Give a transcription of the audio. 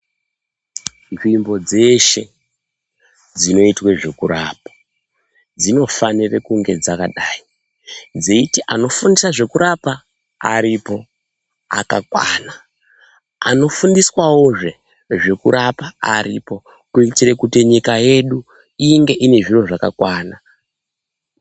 Nzvimbo dzeshe dzinoitwe zvekurapa dzinofanire kunge dzakadai, dzeiti anofundisa zvekurapa aripo akakwana. Anofundiswavozve zvekurapwa aripo, kuitire kuti nyika yedu inge ine zviro zvakakwana.